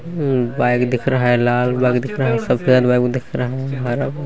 bike दिख रहा है लाल बाइक दिख रहा है सफ़ेद बाइक दिख रहा है हरा--